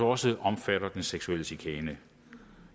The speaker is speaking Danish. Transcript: også omfatter den seksuelle chikane